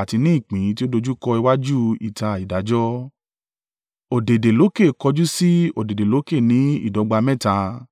àti ni ìpín tí ó dojúkọ iwájú ìta ìdájọ́, ọ̀dẹ̀dẹ̀ lókè kọjú sì ọ̀dẹ̀dẹ̀ lókè ní ìdọ́gba mẹ́ta.